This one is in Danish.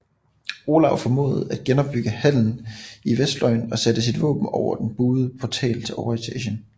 Olav formåede at genopbygge hallen i vestfløjen og satte sit våben over den buede portal til overetagen